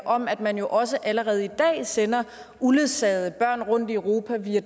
om at man jo også allerede i dag sender uledsagede børn rundt i europa via